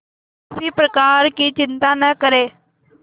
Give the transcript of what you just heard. किसी प्रकार की चिंता न करें